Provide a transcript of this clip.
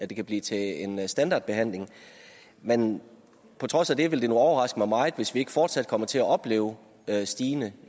det kan blive til en standardbehandling men på trods af det ville det overraske mig meget hvis vi ikke fortsat kom til at opleve stigende